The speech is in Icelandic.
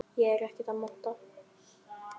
Ég er ekkert að monta.